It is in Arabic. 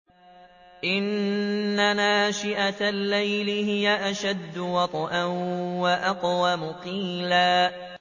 إِنَّ نَاشِئَةَ اللَّيْلِ هِيَ أَشَدُّ وَطْئًا وَأَقْوَمُ قِيلًا